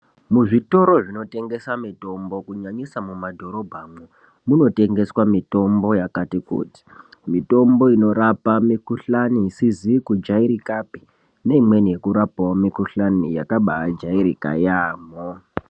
Muzvitoro zvinotengesa mitombo kunyanyisa mumadhorobhamwo munotengeswa mitombo yakati kuti, mitombo inorapa matenda asizi kujairikapi neimweni yekurapawo mikhuhlani yakabaajairika yaamho.